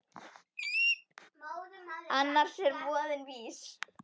Annars er voðinn vís.